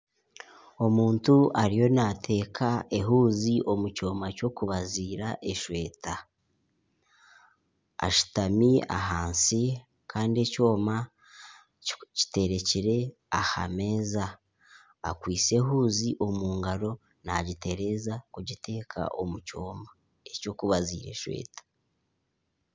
Omuntu ariyo naateeka ehuuzi omu kyoma ky'okubaziira eshweta. Ashutami ahansi kandi ekyoma kiterekire aha meeza. Akwaitse ehuuzi omu ngaro omu ngaro nagitereeza kugita omu kyoma eky'okubaziira eshweta.